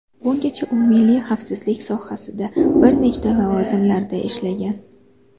Bungacha u milliy xavfsizlik sohasida bir nechta lavozimlarda ishlagan.